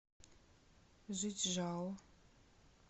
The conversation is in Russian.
жичжао